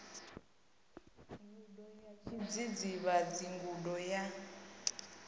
gudo ya tshidzidzivhadzi gudo ya